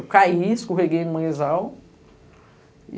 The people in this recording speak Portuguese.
Eu caí, escorreguei no manguezal.